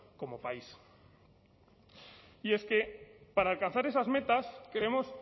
como país y es que para alcanzar esas metas creemos